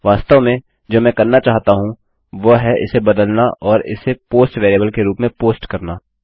वास्तव में जो मैं करना चाहता हूँ वह है इसे बदलना और इसे पोस्ट वेरिएबल के रूप में पोस्ट करना